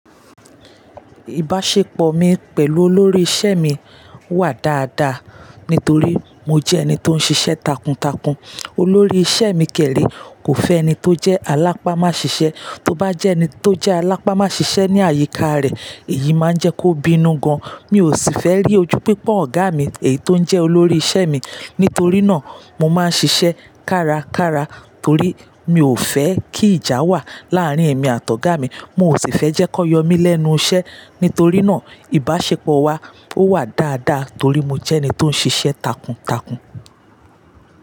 Ìbáṣepọ̀ mi pẹ̀lú olórí iṣẹ́ mi wà dáadáa, nítorí mo jẹ́ ẹni tó ń ṣiṣẹ́ takuntakun. Olórí iṣẹ́ mi kẹ̀ré, kò fẹ́ ẹni tó jẹ́ alápá má ṣiṣẹ́. Tó bá jẹ́ ẹni tó jẹ́ alápámọ́ ṣiṣẹ́ ní àyíká rẹ̀, èyí máa ń jẹ́ kó bínú gan. Mi ò sì fẹ́ rí ojú pípọ́n ọ̀gá mi, èyí tó ń jẹ́ olórí iṣẹ́ mi. Nítorí náà, mo máa ń ṣiṣẹ́ kárakára torí mi ò fẹ́ kí ìjà wà láàárín èmi àti ọ̀gá mi. Mo ò sì fẹ́ jẹ́ kó yọ mí lẹ́nu iṣẹ́. Nítorí náà, ìbáṣepọ̀ wa ó wà dáadáa torí mo jẹ́ ẹni tó ń ṣiṣẹ́ takuntakun.